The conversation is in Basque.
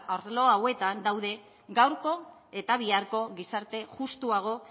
arlo hauetan daude gaurko eta biharko gizarte justuago